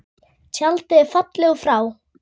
Tjaldið er fallið og frá.